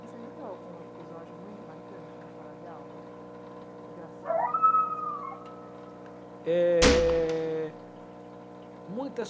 Você viveu algum episódio muito marcante na sala de aula? Engraçado, alguma coisa? É... muitas,